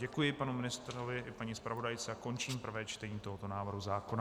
Děkuji panu ministrovi i paní zpravodajce a končím prvé čtení tohoto návrhu zákona.